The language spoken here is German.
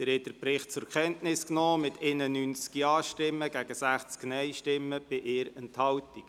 Sie haben den Bericht zur Kenntnis genommen mit 91 Ja- gegen 60 Nein-Stimmen bei 1 Enthaltung.